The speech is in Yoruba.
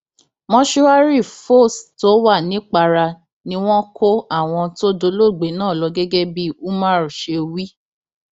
mòṣùárì fós tó wà nìpara ni wọn kó àwọn tó dolóògbé náà lọ gẹgẹ bí umar ṣe wí